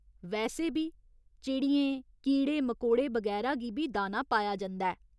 वैसे बी चिड़ियें कीड़े मकोड़े बगैरा गी बी दाना पाया जंदा ऐ।